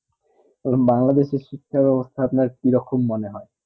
তখন বাংলাদেশের শিক্ষা বেবস্তা আপনার কি রকম মনে হয়ে